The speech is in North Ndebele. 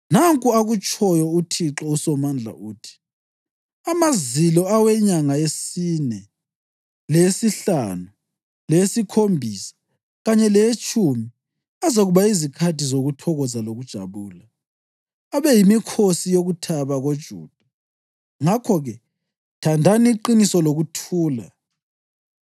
Nanku akutshoyo uThixo uSomandla, uthi, “Amazilo awenyanga yesine, leyesihlanu, leyesikhombisa kanye leyetshumi azakuba yizikhathi zokuthokoza lokujabula, abe yimikhosi yokuthaba koJuda. Ngakho-ke thandani iqiniso lokuthula.”